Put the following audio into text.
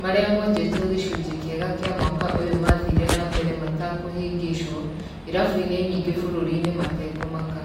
marĩa monjetio gĩcunjĩ kiega kĩa mwaka ũyũ mathire na mbere matakũhĩngĩcĩo irabu-inĩ nyingĩ bũrũri-inĩ matekũmaka.